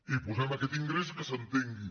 i posem aquest ingrés que s’entengui